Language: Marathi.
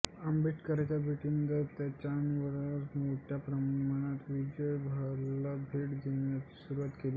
आंबेडकरांच्या भेटीनंतर त्यांच्या अनुयायांनी मोठ्या प्रमाणात या विजयस्तंभाला भेट देण्यास सुरूवात केली